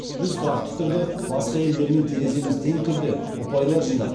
біз тұрақты түрде басқа елдермен тереземіз тең түрде ұпайлар жинап